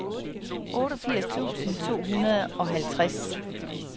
otteogfirs tusind to hundrede og halvtreds